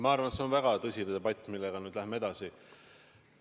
Ma arvan, et see on väga tõsine debatt, millega me nüüd läheme edasi.